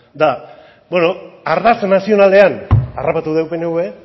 ba beno ardatz nazionalean harrapatu dugu pnv